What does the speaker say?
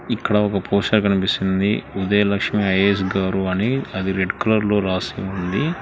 ఇక్కడ ఒక పోస్టర్ కనిపిస్తుంది ఉదయలక్ష్మి ఐ_ఏ_ఎస్ గారు అని అది రెడ్ కలర్లో రాసి ఉంది.